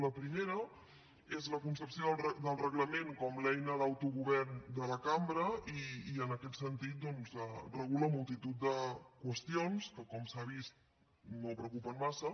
la primera és la concepció del reglament com a l’eina d’autogovern de la cambra i en aquest sentit doncs regula multitud de qüestions que com s’ha vist no preocupen massa